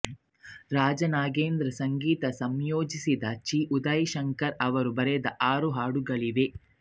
ರಾಜನ್ನಾಗೇಂದ್ರ ಸಂಗೀತ ಸಂಯೋಜಿಸಿದ್ದು ಚಿ ಉದಯಶಂಕರ್ ಅವರು ಬರೆದ ಆರು ಹಾಡುಗಳಿವೆ